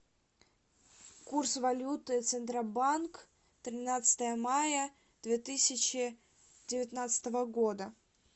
курс валюты центробанк тринадцатое мая две тысячи девятнадцатого года